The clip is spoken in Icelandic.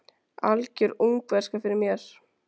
Algjör ungverska fyrir mér.